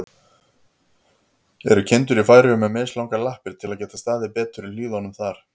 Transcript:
Eru kindur í Færeyjum með mislangar lappir, til að geta staðið betur í hlíðunum þar?